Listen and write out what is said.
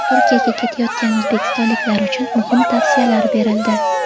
Turkiyaga ketayotgan o‘zbekistonliklar uchun muhim tavsiyalar berildi.